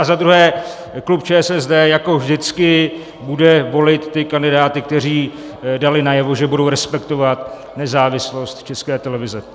A za druhé, klub ČSSD jako vždycky bude volit ty kandidáty, kteří dali najevo, že budou respektovat nezávislost České televize.